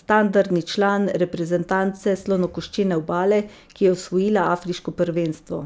standardni član reprezentance Slonokoščene obale, ki je osvojila afriško prvenstvo.